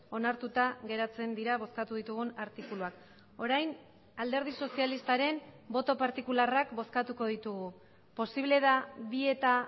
onartuta geratzen dira bozkatu ditugun artikuluak orain alderdi sozialistaren boto partikularrak bozkatuko ditugu posible da bi eta